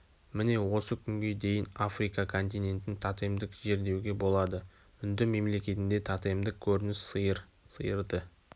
міне осы күнге дейін африка континентін тотемдік жер деуге болады үнді мемлекетінде тотемдік көрініс сиыр сиырды